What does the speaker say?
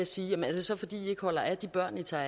siger er det så fordi i holder af de børn i tager